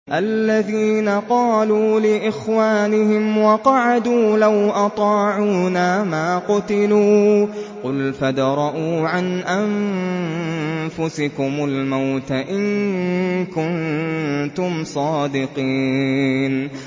الَّذِينَ قَالُوا لِإِخْوَانِهِمْ وَقَعَدُوا لَوْ أَطَاعُونَا مَا قُتِلُوا ۗ قُلْ فَادْرَءُوا عَنْ أَنفُسِكُمُ الْمَوْتَ إِن كُنتُمْ صَادِقِينَ